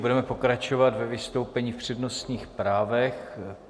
Budeme pokračovat ve vystoupení v přednostních právech.